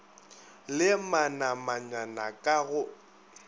le manamanyana k a go